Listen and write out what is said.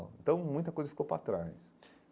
Então, muita coisa ficou para trás.